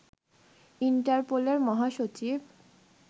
ইন্টারপোলের মহাসচিব